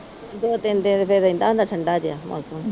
ਦੋ-ਤਿੰਨ ਦਿਨ ਰਹਿੰਦਾ ਫਿਰ ਠੰਡਾ ਜਾ।